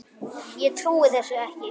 Ég trúi þessu ekki